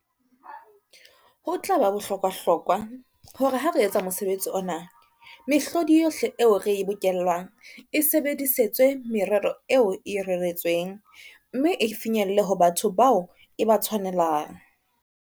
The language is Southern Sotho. Ho tla ba bohlokwahlokwa, hore ha re etsa mosebetsi ona, mehlodi yohle eo re e bokellang e sebedisetswe merero eo e reretsweng, mme e finyelle ho batho bao e ba tshwanelang.